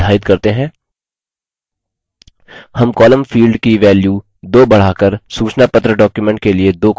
हम columns field की value 2 बढ़ाकर सूचनापत्र document के लिए दो columns चुनेंगे